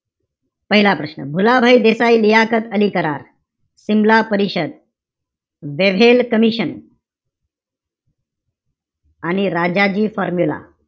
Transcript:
पहिला प्रश्न, भुलाभाई देसाई-लियाकत अली करार. सिमला परिषद. Wavell commission. आणि राजाजी formula